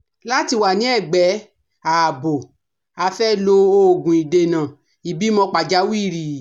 Láti wà ní ẹ̀gbẹ́ ààbò, a fẹ́ lo òògùn ìdènà ìbímọ pàjáwìrì